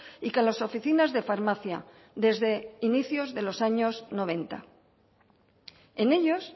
y con las oficinas de farmacia desde inicios de los años noventa en ellos